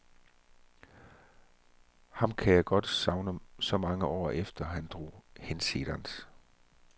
Ham kan jeg godt savne så mange år efter at han drog hinsides.